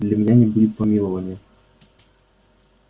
для меня не будет помилования